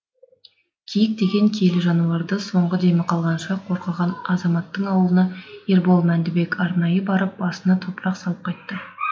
киік деген киелі жануарды соңғы демі қалғанша қорғаған азаматтың ауылына ербол мәндібек арнайы барып басына топырақ салып қайтты